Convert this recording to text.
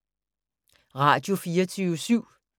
Radio24syv